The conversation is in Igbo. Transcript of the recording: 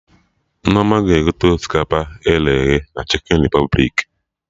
Nneoma ga-egote osikapa e ghere eghe na Chikin Repụblik